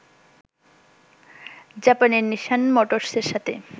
জাপানের নিশান মোটরসের সাথে